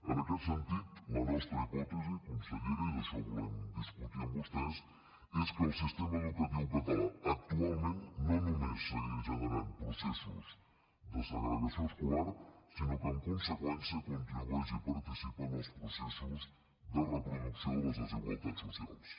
en aquest sentit la nostra hipòtesi consellera i d’això volem discutir amb vostès és que el sistema educatiu català actualment no només segueix generant processos de segregació escolar sinó que en conseqüència contribueix i participa en els processos de reproducció de les desigualtats socials